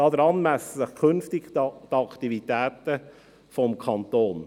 Daran messen sich künftig die Aktivitäten des Kantons.